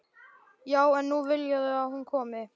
Já en nú vilja þau að hún komi